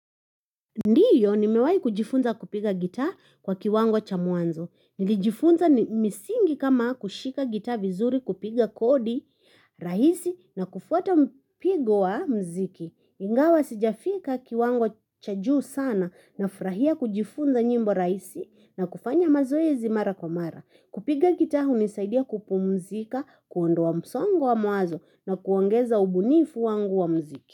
Ndiyo nimewai kujifunza kupiga gitaa kwa kiwango cha mwanzo. Nilijifunza misingi kama; kushika gitaa vizuri kupiga kodi rahisi, na kufuata mpigo wa mziki. Ingawa sijafika kiwango cha juu sana nafurahia kujifunza nyimbo rahisi, na kufanya mazoezi mara kwa mara. Kupiga gitaa hunisaidia kupumzika, kuondoa msongo wa mawazo na kuongeza ubunifu wangu wa mziki.